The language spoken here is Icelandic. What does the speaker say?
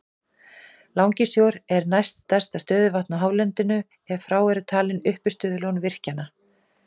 Langisjór er næst stærsta stöðuvatnið á hálendinu ef frá eru talin uppistöðulón virkjanna.